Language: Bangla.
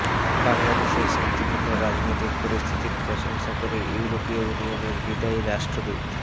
বাংলাদেশের শান্তিপূর্ণ রাজনৈতিক পরিস্থিতির প্রশংসা করে ইউরোপীয় ইউনিয়নের বিদায়ী রাষ্ট্রদূত